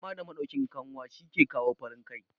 zama da madaukin kanwa shi ke kawo farin Kai